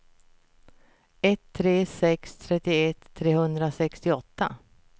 ett tre tre sex trettioett trehundrasextioåtta